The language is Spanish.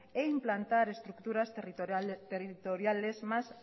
e implantar estructuras territoriales más